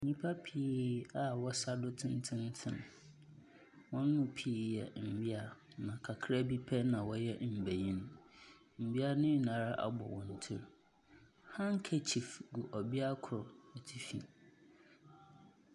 Nnipa pii a wɔsa do tententen. Wɔn mu pii yɛ mmea. Na kakraa bi pɛ na wɔyɛ mbenyin. Mmea nyinaa ara abɔ wɔn ti. Hankekyif gu ɔbea koro atifi.